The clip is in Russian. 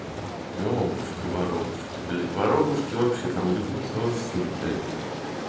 ебушки воробушки блять воробушки вообще там ебуться во всю блять